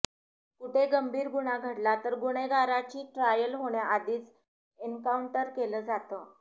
कुठे गंभीर गुन्हा घडला तर गुन्हेगारांची ट्रायल होण्याआधीच एन्काऊंटर केलं जातं